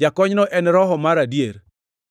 Jakonyno en Roho mar adier.